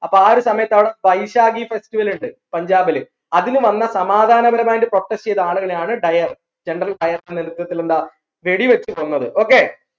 അപ്പൊ ആ ഒരു സമയത്താണ് അവിടെ വൈശാഖി festival ഇണ്ട് പഞ്ചാബിൽ അതിന് വന്ന സമാദാനപരമായിട്ട് protest ചെയ്ത ആളുകളെയാണ് വെടി വെച്ച് കൊന്നത് okay